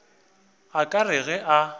a ka re ge a